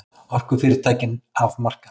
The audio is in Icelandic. Orkufyrirtækin af markaði